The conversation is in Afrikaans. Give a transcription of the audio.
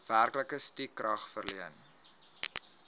werklike stukrag verleen